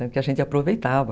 Então, a gente aproveitava.